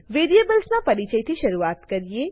વેરીએબલસના પરિચયથી શરૂઆત કરીએ